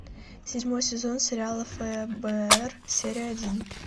седьмой сезон сериала фбр серия один